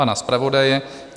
Pana zpravodaje?